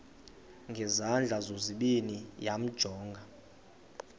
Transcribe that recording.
ngezandla zozibini yamjonga